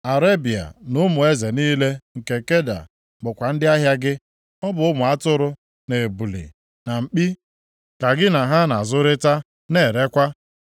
“ ‘Arebịa na ụmụ eze niile nke Keda bụkwa ndị ahịa gị. Ọ bụ ụmụ atụrụ, na ebule, na mkpi, ka gị na ha nʼazụrịta na-erekwa.